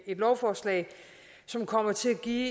lovforslag som kommer til at give